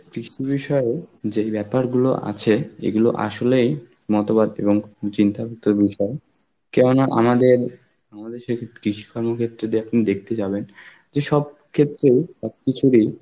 কৃষ বিষয় যেই ব্যাপারগুলো আছে, এইগুলো আসলেই মতবাদ এবং চিন্তাযুক্ত বিষয় কেননা আমাদের~ আমাদের সে কৃষিকানু ক্ষেত্রে দেখুন দেখতে যাবেন যেসব ক্ষেত্রে, সব কিছুরই